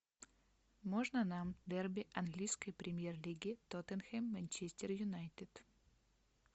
можно нам дерби английской премьер лиги тоттенхэм манчестер юнайтед